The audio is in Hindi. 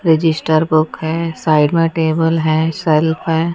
रजिस्टर बुक है साइड में टेबल है सेल्फ हैं।